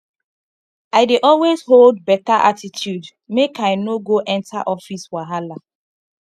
i dey always hold better attitude make i no go enter office wahala